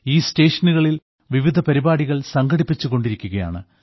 ഈ സ്റ്റേഷനുകളിൽ വിവിധ പരിപാടികൾ സംഘടിപ്പിച്ചുകൊണ്ടിരിക്കുകയാണ്